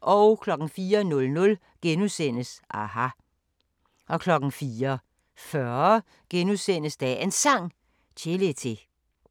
04:00: aHA! * 04:40: Dagens Sang: Chelete *